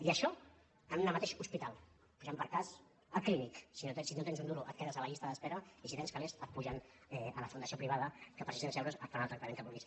i això en un mateix hospital posem per cas el clínic si no tens ni un duro et quedes a llista d’espera i si tens calés et pugen a la fundació privada que per sis·cents euros et fan el tractament que vulguis